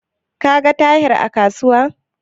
Ka ga Tahir a kasuwar?